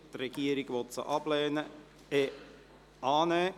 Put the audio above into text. Die Regierung will sie ablehnen – respektive annehmen!